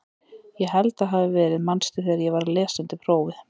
Ég held að það hafi verið manstu þegar ég var að lesa undir prófið?